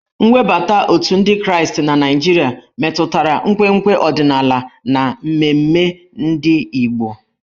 Nwebata otù ndị Kraịst na Naịjirịa metụtara nkwenkwe ọdịnala na mmemme ndị Igbo.